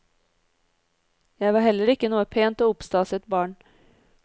Jeg var heller ikke noe pent og oppstaset barn.